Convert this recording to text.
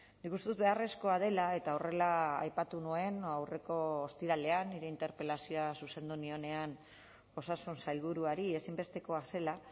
nik uste dut beharrezkoa dela eta horrela aipatu nuen aurreko ostiralean nire interpelazioa zuzendu nionean osasun sailburuari ezinbestekoa zela